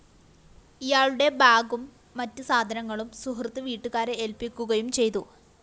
ഇയാളുടെ ബാഗും മറ്റ് സാധനങ്ങളും സുഹൃത്ത് വീട്ടുകാരെ ഏല്‍പ്പിക്കുകയും ചെയ്തു